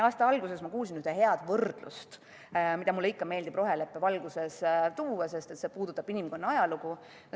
Aasta alguses ma kuulsin ühte head võrdlust, mida mulle ikka meeldib roheleppe valguses välja tuua, sest see puudutab inimkonna ajalugu.